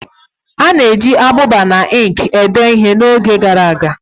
A na-eji ábụbà na ink edee ihe n'oge gara aga